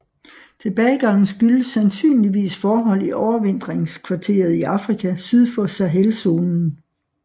Tilbagegangen skyldes sandsynligvis forhold i overvintringskvarteret i Afrika syd for Sahelzonen